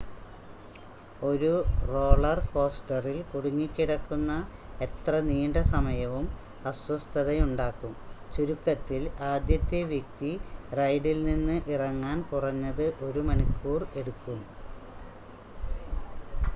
ഒരു റോളർ കോസ്റ്ററിൽ കുടുങ്ങിക്കിടക്കുന്ന എത്ര നീണ്ട സമയവും അസ്വസ്ഥതയുണ്ടാക്കും ചുരുക്കത്തിൽ ആദ്യത്തെ വ്യക്തി റൈഡിൽ നിന്ന് ഇറങ്ങാൻ കുറഞ്ഞത് ഒരു മണിക്കൂർ എടുക്കും